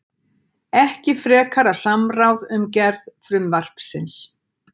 Ekki frekara samráð um gerð frumvarpsins